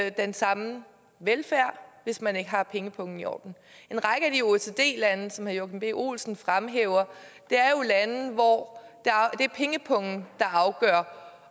ikke den samme velfærd hvis man ikke har pengepungen i orden en række af de oecd lande som herre joachim b olsen fremhæver er jo lande hvor det er pengepungen der afgør